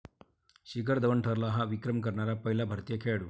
शिखर धवन ठरला 'हा' विक्रम करणारा पहिला भारतीय खेळाडू!